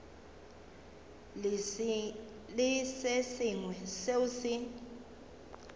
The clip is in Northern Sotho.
le se sengwe seo se